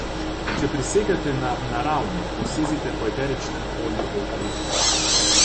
Če prisegate na naravno, posezite po eteričnem olju evkalipta.